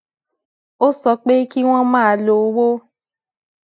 ó sọ pé kí wón máa lo owó